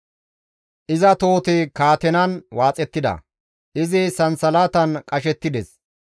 Iza tohoti kaatenan waaxettida; izi sansalatan qashettides.